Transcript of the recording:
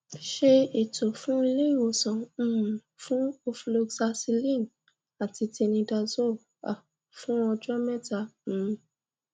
ṣe ètò fun iléìwòsàn um fún ofloxacilin àti tinidazole um fún ọjọ mẹta um